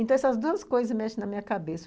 Então, essas duas coisas mexem na minha cabeça.